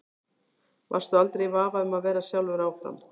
Varstu aldrei í vafa um að vera sjálfur áfram?